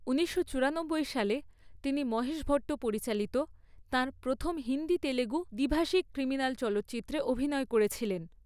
ঊনিশশো চুরানব্বই সালে, তিনি মহেশ ভট্ট পরিচালিত তাঁর প্রথম হিন্দি তেলুগু দ্বিভাষিক ক্রিমিনাল চলচ্চিত্রতে অভিনয় করেছিলেন।